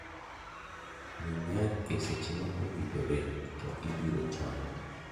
Muony yath e seche ma owinjore ,to ibiro chango.